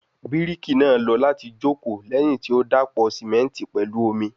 Biriki naa lọ lati joko lẹhin ti o dapọ simenti pẹlu omi